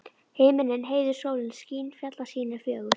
Himinninn heiður, sólin skín, fjallasýnin fögur.